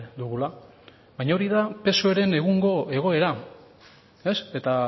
dugula baina hori da psoeren egungo egoera eta